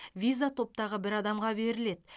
виза топтағы бір адамға беріледі